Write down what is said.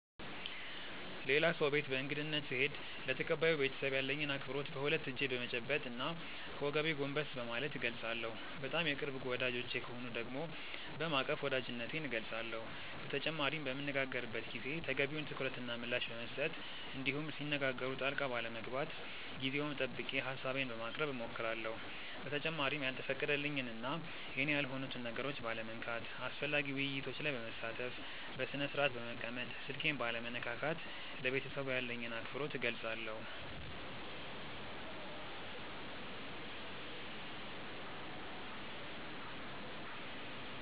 ሌላ ሰው ቤት በእንግድነት ስሄድ ለተቀባዩ ቤተሰብ ያለኝን አክብሮት በሁለት እጄ በመጨበጥ እና ከወገቤ ጎንበስ በማለት እገልፃለሁ። በጣም የቅርብ ወዳጆቼ ከሆኑ ደግሞ በማቀፍ ወዳጅነቴን እገልፃለሁ። በተጨማሪም በምንነጋገርበት ጊዜ ተገቢውን ትኩረት እና ምላሽ በመስጠት እንዲሁም ሲነጋገሩ ጣልቃ ባለመግባት ጊዜውን ጠብቄ ሀሳቤን በማቅረብ እሞክራለሁ። በተጨማሪም ያልተፈቀደልኝን እና የኔ ያልሆኑትን ነገሮች ባለመንካት፣ አስፈላጊ ውይይቶች ላይ በመሳተፍ፣ በስነስርአት በመቀመጥ፣ ስልኬን ባለመነካካት ለቤተሰቡ ያለኝን አክብሮት እገልፃለሁ።